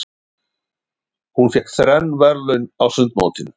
Hún fékk þrenn verðlaun á sundmótinu.